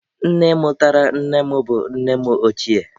Nne mụtara nne m bụ nne m ochie